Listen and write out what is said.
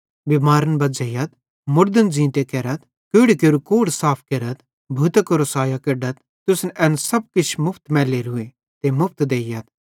बिमारन बज़्झ़ेइयथ मुड़दन ज़ींते केरथ कोढ़ी केरू कोढ़ साफ केरथ ते भूतां केरो सैयो केढथ तुसन एन सब किछ मुफ्त मैलोरूए ते मुफ्त देइयथ